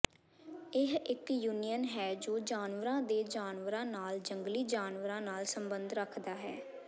ਇਹ ਇੱਕ ਯੂਨੀਅਨ ਹੈ ਜੋ ਜਾਨਵਰਾਂ ਦੇ ਜਾਨਵਰਾਂ ਨਾਲ ਜੰਗਲੀ ਜਾਨਵਰਾਂ ਨਾਲ ਸਬੰਧ ਰੱਖਦਾ ਹੈ